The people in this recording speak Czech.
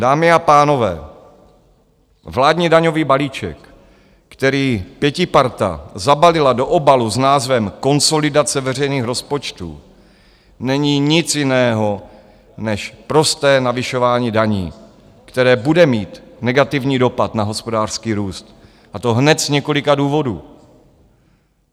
Dámy a pánové, vládní daňový balíček, který pětiparta zabalila do obalu s názvem Konsolidace veřejných rozpočtů, není nic jiného, než prosté navyšování daní, které bude mít negativní dopad na hospodářský růst, a to hned z několika důvodů.